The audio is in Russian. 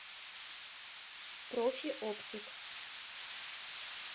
профиоптик